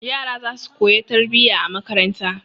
Yara za su koya tarbiyya a makaranta.